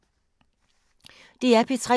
DR P3